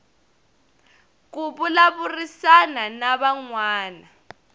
ku vulavurisana na van wana